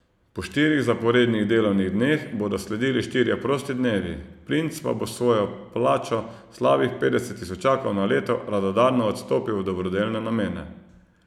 Po štirih zaporednih delovnih dneh bodo sledili štirje prosti dnevi, princ pa bo svojo plačo, slabih petdeset tisočakov na leto, radodarno odstopil v dobrodelne namene.